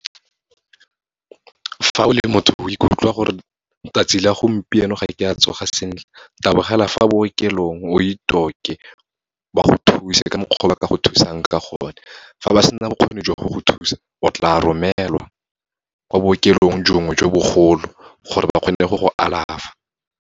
Fa o le motho o ikutlwa gore 'tsatsi la gompieno ga ke a tsoga sentle, tabogela fa bookelong, o ba go thuse ka mokgwa o ba ka go thusang ka gone. Fa ba sena bokgoni jwa go go thusa, o tla romelwa ko bookelong bongwe jo bogolo, gore ba kgone go go alafa.